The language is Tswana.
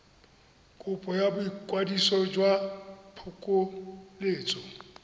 kopo ya boikwadiso jwa phokoletso